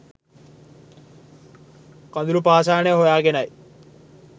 කඳුළු පාෂාණය හොයාගෙනයි